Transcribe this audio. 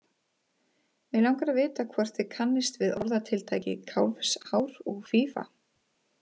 Mig langar að vita hvort þið kannist við orðatiltækið kálfshár og fífa